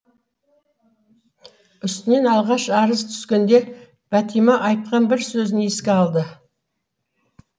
үстінен алғаш арыз түскенде бәтима айтқан бір сөзін еске алды